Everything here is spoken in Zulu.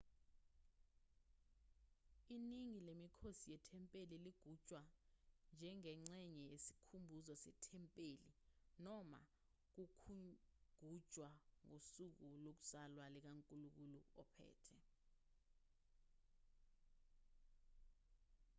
iningi lemikhosi yethempeli ligujwa njengengxenye yesikhumbuzo sethempeli noma ukugujwa kosuku lokuzalwa likankulunkulu ophethe